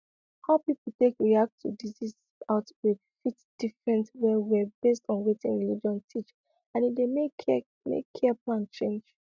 how people take react to disease outbreak fit different wellwell based on wetin religion teach and e dey make care make care plan change